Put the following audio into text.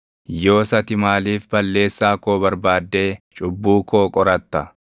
Yoos ati maaliif balleessaa koo barbaaddee cubbuu koo qoratta?